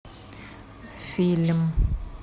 фильм